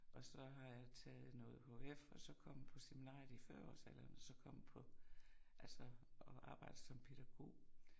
Og så har jeg taget noger HF og så kommet på seminariet i fyrreårsalderen og så kommet på altså og så arbejdet som pædagog